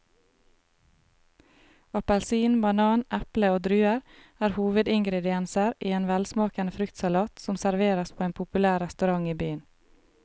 Appelsin, banan, eple og druer er hovedingredienser i en velsmakende fruktsalat som serveres på en populær restaurant i byen.